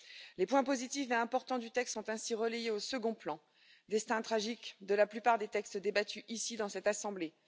Les points positifs et importants du texte sont ainsi relayés au second plan, destin tragique de la plupart des textes débattus ici dans cette assemblée.